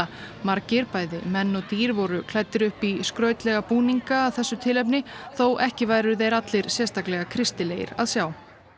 margir bæði menn og dýr voru klæddir upp í skrautlega búninga að þessu tilefni þó ekki væru þeir allir sérstaklega kristilegir að sjá